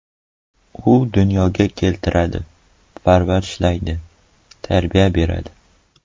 U dunyoga keltiradi, parvarishlaydi, tarbiya beradi.